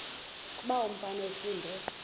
kuba umfana esindise